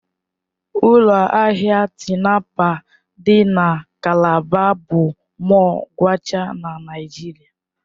Ụlọ ahịa Tinapa dị na Calabar bụ mọll kwachaa na Naịjirịa.